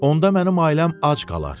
Onda mənim ailəm ac qalar.